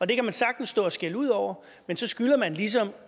det kan man sagtens stå og skælde ud over men så skylder man ligesom